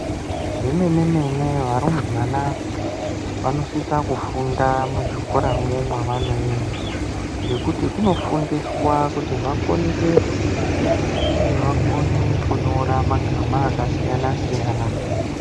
Zvemenemene varumbwana vanosisa kufunda muzvikoramwo mavonoenda ngekuti kunofundiswa kuti vakone kuerenga uye vakone kunyora magama aksiyanasiyana.